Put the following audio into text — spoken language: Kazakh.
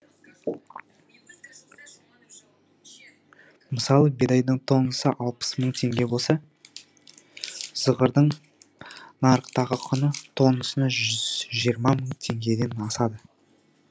мысалы бидайдың тоннасы алпыс мың теңге болса зығырдың нарықтағы құны тоннасына жүз жиырма мың теңгеден асады